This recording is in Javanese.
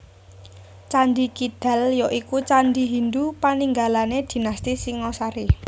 Candhi Kidal ya iku candhi Hindhu paninggalané dinasti Singasari